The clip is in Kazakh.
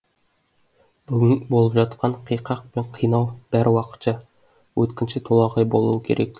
бүгін болып жатқан қиқақ пен қинау бәрі уақытша өткінші толағай болуы керек